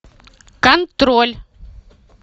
контроль